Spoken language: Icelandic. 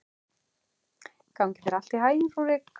Gangi þér allt í haginn, Rúrik.